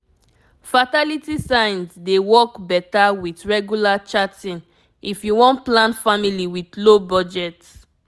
fertility signs dey work better with regular charting if you won plan family with low budget